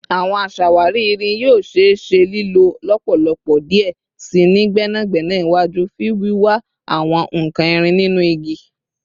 Awọn aṣawari irin yoo ṣee ṣe lilo lọpọlọpọ diẹ sii ni gbẹnagbẹna iwaju fun wiwa awọn nkan irin ninu igi